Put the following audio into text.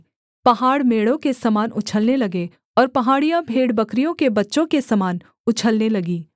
पहाड़ मेढ़ों के समान उछलने लगे और पहाड़ियाँ भेड़बकरियों के बच्चों के समान उछलने लगीं